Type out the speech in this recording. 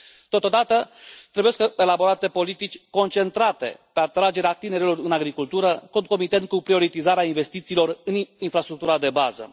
Totodată, trebuie elaborate politici concentrate pe atragerea tinerilor în agricultură, concomitent cu prioritizarea investițiilor în infrastructura de bază.